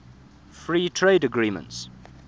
free trade agreements